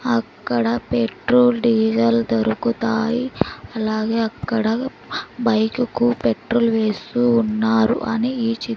అక్కడ petrol diesel దొరుకుతాయి అలాగే అక్కడ బైక్ కు పెట్రోల్ వేస్తూ ఉన్నారు అని ఈ చి--